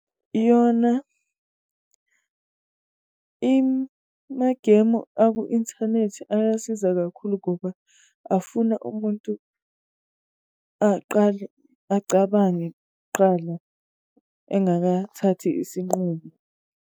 Iyona imagemu akwi-inthanethi ayasiza kakhulu ngoba afuna umuntu aqale acabange kuqala engakathathi isinqumo.